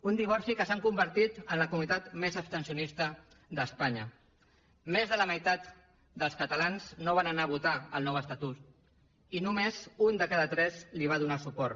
un divorci que ens ha convertit en la comunitat més abstencionista d’espanya més de la meitat dels catalans no van anar a votar el nou estatut i només un de cada tres hi va donar suport